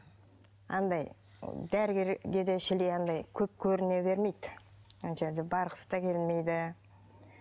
андай дәрігерге де шіли андай көп көріне бермейді барғысы да келмейді